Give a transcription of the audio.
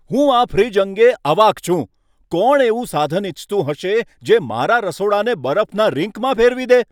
હું આ ફ્રિજ અંગે અવાક છું, કોણ એવું સાધન ઇચ્છતું હશે જે મારા રસોડાને બરફના રિંકમાં ફેરવી દે?